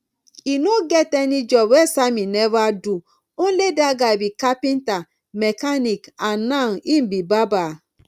e no get any job wey sammy never do only dat guy be carpenter mechanic and now im be barber